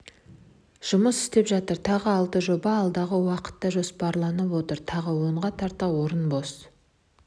жұмыс істеп жатыр тағы алты жоба алдағы уақытқа жоспарланып отыр тағы онға тарта орын бос